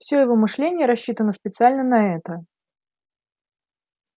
все его мышление рассчитано специально на это